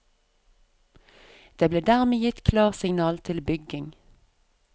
Det ble dermed gitt klarsignal til bygging.